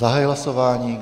Zahajuji hlasování.